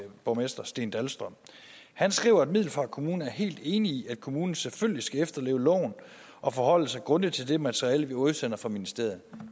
borgmester steen dahlstrøm han skriver at middelfart kommune er helt enig i at kommunen selvfølgelig skal efterleve loven og forholde sig grundigt til det materiale vi udsender fra ministeriet